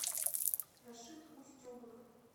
рашид устюгов